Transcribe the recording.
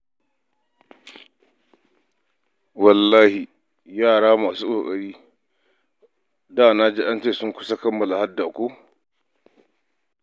Wallahi yara masu ƙoƙari, da na ji an ce ma sun kusa kammala hadda ko?